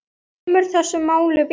Það kemur þessu máli við.